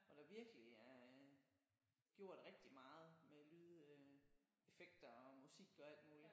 Hvor der virkelig er øh gjort rigtig meget med lyd øh effekter og musik og alt muligt